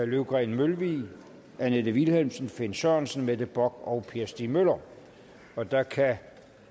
løvgreen mølvig annette vilhelmsen finn sørensen mette bock og per stig møller og der kan